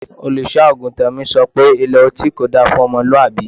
Olùṣọ́-àgùntàn mi sọ pé Ilé ọtí kò da fún ọmọlúwàbí.